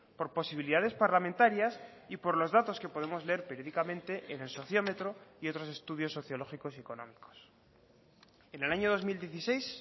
por posibilidades parlamentarias y por los datos que podemos leer periódicamente en el sociómetro y otros estudios sociológicos y económicos en el año dos mil dieciséis